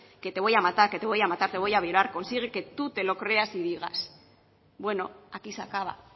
que te voy a matar que te voy a matar te voy a violar consigue que tú te lo creas y digas bueno aquí se acaba